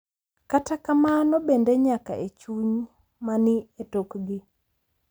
Kata kamano, bende, nyaka e chuny ma ni e tokgi.